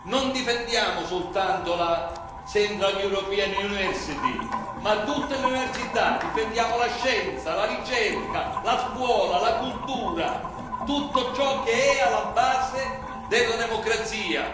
Non difendiamo soltanto la Central European University ma tutte le università, difendiamo la scienza, la ricerca, la scuola, la cultura, tutto ciò che è alla base della democrazia.